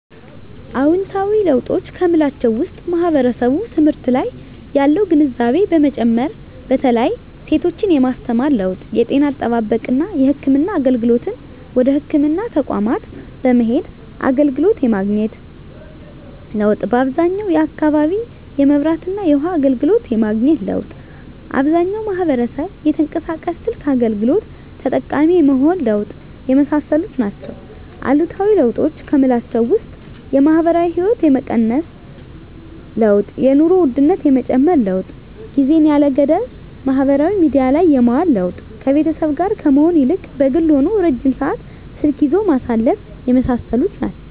አዎንታዊ ለውጦች ከምላቸው ውስጥ ማህበረሰቡ ትምህርት ላይ ያለው ግንዛቤ መጨመር በተለይ ሴቶችን የማስተማር ለውጥ የጤና አጠባበቅና የህክምና አገልግሎትን ወደ ህክምና ተቋማት በመሄድ አገልግሎት የማግኘት ለውጥ በአብዛኛው አካባቢ የመብራትና የውሀ አገልግሎት የማግኘት ለውጥ አብዛኛው ማህበረሰብ የተንቀሳቃሽ ስልክ አገልግሎት ተጠቃሚ የመሆን ለውጥ የመሳሰሉት ናቸው። አሉታዊ ለውጦች ከምላቸው ውስጥ የማህበራዊ ህይወት የመቀነስ ለውጥ የኑሮ ውድነት የመጨመር ለውጥ ጊዜን ያለ ገደብ ማህበራዊ ሚዲያ ላይ የማዋል ለውጥ ከቤተሰብ ጋር ከመሆን ይልቅ በግል ሆኖ ረጅም ሰዓት ስልክ ይዞ ማሳለፍ የመሳሰሉት ናቸው።